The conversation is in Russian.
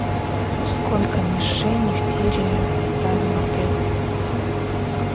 сколько мишеней в тире в данном отеле